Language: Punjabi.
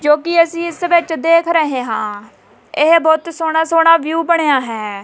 ਜੋ ਕਿ ਅਸੀਂ ਇਸ ਵਿੱਚ ਦੇਖ ਰਹੇ ਹਾਂ ਇਹ ਬਹੁਤ ਸੋਹਣਾ ਸੋਹਣਾ ਵਿਊ ਬਣਿਆ ਹੈ।